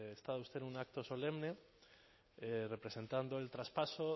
estado usted en un acto solemne representando el traspaso